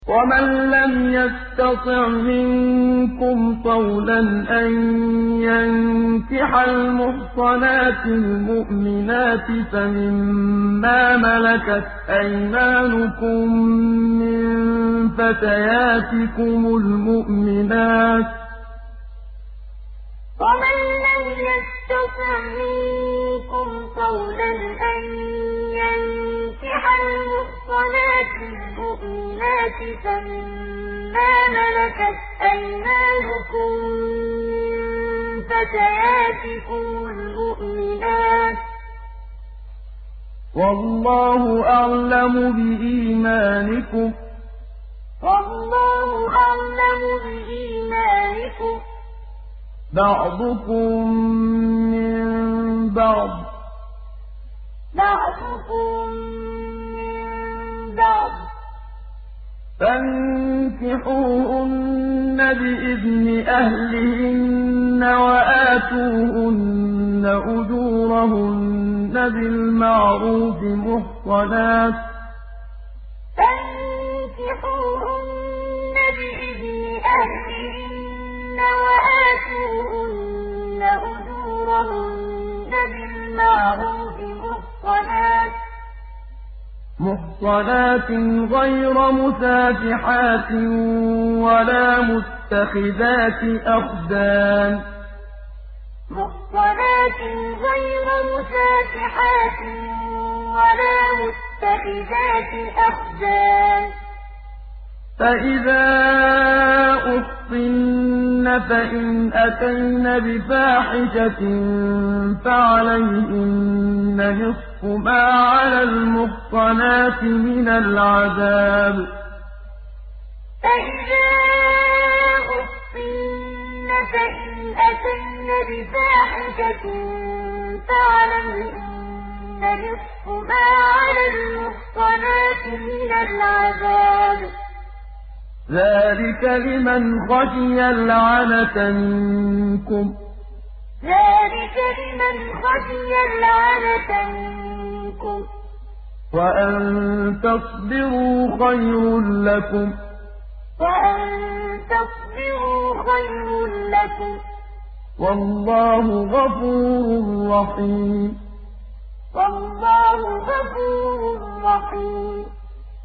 وَمَن لَّمْ يَسْتَطِعْ مِنكُمْ طَوْلًا أَن يَنكِحَ الْمُحْصَنَاتِ الْمُؤْمِنَاتِ فَمِن مَّا مَلَكَتْ أَيْمَانُكُم مِّن فَتَيَاتِكُمُ الْمُؤْمِنَاتِ ۚ وَاللَّهُ أَعْلَمُ بِإِيمَانِكُم ۚ بَعْضُكُم مِّن بَعْضٍ ۚ فَانكِحُوهُنَّ بِإِذْنِ أَهْلِهِنَّ وَآتُوهُنَّ أُجُورَهُنَّ بِالْمَعْرُوفِ مُحْصَنَاتٍ غَيْرَ مُسَافِحَاتٍ وَلَا مُتَّخِذَاتِ أَخْدَانٍ ۚ فَإِذَا أُحْصِنَّ فَإِنْ أَتَيْنَ بِفَاحِشَةٍ فَعَلَيْهِنَّ نِصْفُ مَا عَلَى الْمُحْصَنَاتِ مِنَ الْعَذَابِ ۚ ذَٰلِكَ لِمَنْ خَشِيَ الْعَنَتَ مِنكُمْ ۚ وَأَن تَصْبِرُوا خَيْرٌ لَّكُمْ ۗ وَاللَّهُ غَفُورٌ رَّحِيمٌ وَمَن لَّمْ يَسْتَطِعْ مِنكُمْ طَوْلًا أَن يَنكِحَ الْمُحْصَنَاتِ الْمُؤْمِنَاتِ فَمِن مَّا مَلَكَتْ أَيْمَانُكُم مِّن فَتَيَاتِكُمُ الْمُؤْمِنَاتِ ۚ وَاللَّهُ أَعْلَمُ بِإِيمَانِكُم ۚ بَعْضُكُم مِّن بَعْضٍ ۚ فَانكِحُوهُنَّ بِإِذْنِ أَهْلِهِنَّ وَآتُوهُنَّ أُجُورَهُنَّ بِالْمَعْرُوفِ مُحْصَنَاتٍ غَيْرَ مُسَافِحَاتٍ وَلَا مُتَّخِذَاتِ أَخْدَانٍ ۚ فَإِذَا أُحْصِنَّ فَإِنْ أَتَيْنَ بِفَاحِشَةٍ فَعَلَيْهِنَّ نِصْفُ مَا عَلَى الْمُحْصَنَاتِ مِنَ الْعَذَابِ ۚ ذَٰلِكَ لِمَنْ خَشِيَ الْعَنَتَ مِنكُمْ ۚ وَأَن تَصْبِرُوا خَيْرٌ لَّكُمْ ۗ وَاللَّهُ غَفُورٌ رَّحِيمٌ